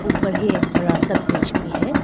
ऊपर ही एक बड़ा सा ब्रिज भी है।